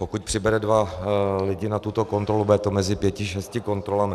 Pokud přibere dva lidi na tuto kontrolu, bude to mezi pěti šesti kontrolami.